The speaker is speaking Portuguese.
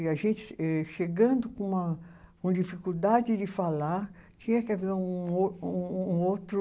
E a gente, êh chegando com uma, uma dificuldade de falar, tinha que haver um ou, um um outro.